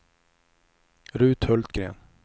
Ruth Hultgren